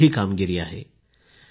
ही एक मोठी कामगिरी आहे